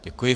Děkuji.